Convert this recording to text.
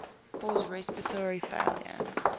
cause respiratory failure